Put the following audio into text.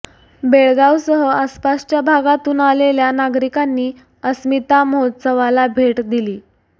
बेळगावसह आसपासच्या भागातून आलेल्या नागरिकांनी अस्मिता महोत्सवाला भेट दिली